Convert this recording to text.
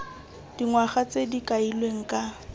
dingwaga tse di kailweng ka